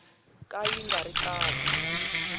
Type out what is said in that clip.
ka yi nga ri kahle